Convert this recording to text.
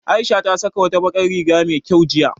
Aisha ta saka wata bakar riga me kyau jiya